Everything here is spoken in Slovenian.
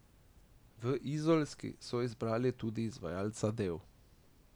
V izolski so izbrali tudi izvajalca del.